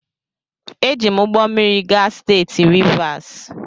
Eji m ụgbọ mmiri gaa steeti Rivas.